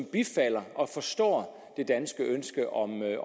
bifalder og forstår det danske ønske om øget